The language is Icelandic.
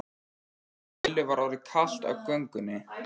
Lillu var orðið kalt á göngunni.